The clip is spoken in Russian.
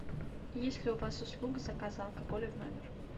есть ли у вас услуга заказа алкоголя в номер